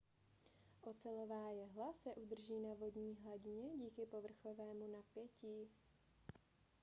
ocelová jehla se udrží na vodní hladině díky povrchovému napětí